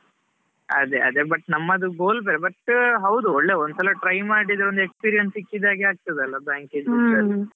ಅದೇ ಅದೇ, but ನಮ್ಮದು goal ಬೇರೆ but ಹೌದು ಒಂದ್ಸಲಾ try ಮಾಡಿದ್ರೆ ಒಂದ್ experience ಸಿಕ್ಕಿದ ಹಾಗೆ ಆಗ್ತಾದಲ್ಲಾ, bank ಇದ್ದು .